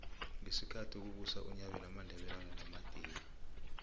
ngesikhathi kubusa unyabela amandebele alwa namadika